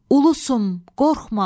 Ulusun, qorxma.